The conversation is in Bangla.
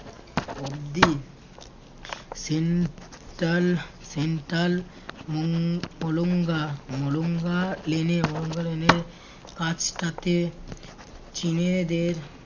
অব্দি central central মঙ মলঙ্গা মলঙ্গা lane এ মলঙ্গা lane এর কাজ টা তে চীনেদের